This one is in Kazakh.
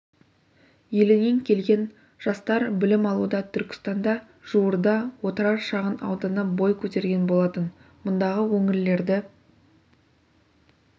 елінен келген жастар білім алуда түркістанда жуырда отырар шағын ауданы бой көтерген болатын мұндағы өңірлерді